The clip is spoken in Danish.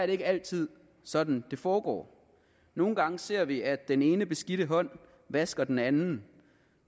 ikke altid sådan det foregår nogle gange ser vi at den ene beskidte hånd vasker den anden